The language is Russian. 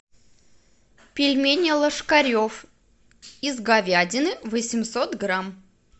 пельмени ложкарев из говядины восемьсот грамм